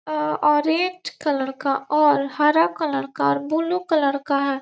Orange colour का और हरा कलर का और ब्लू कलर का है।